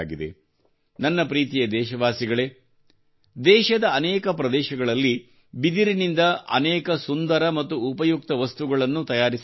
ನನ್ನ ಪ್ರೀತಿಯ ದೇಶವಾಸಿಗಳೇ ದೇಶದ ಅನೇಕ ಪ್ರದೇಶಗಳಲ್ಲಿ ಬಿದಿರಿನಿಂದ ಅನೇಕ ಸುಂದರ ಮತ್ತು ಉಪಯುಕ್ತ ವಸ್ತುಗಳನ್ನು ತಯಾರಿಸಲಾಗುತ್ತದೆ